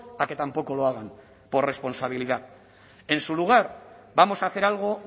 a que tampoco lo hagan por responsabilidad en su lugar vamos a hacer algo